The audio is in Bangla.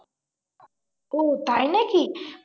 ওহ তাই নাকি?